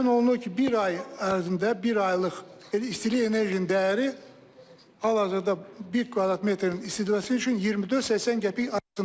Müəyyən olunur ki, bir ay ərzində, bir aylıq istilik enerjisinin dəyəri hal-hazırda bir kvadrat metrin istidməsi üçün 24-80 qəpik arasındadır.